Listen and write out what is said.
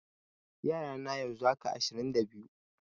Yara na yanzu haka, ashirin da biyu.